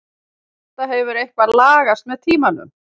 Þetta hefur eitthvað lagast með tímanum.